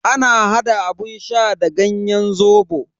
Ana hada abun sha da ganyen zobo.